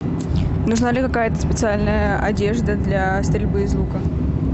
нужна ли какая то специальная одежда для стрельбы из лука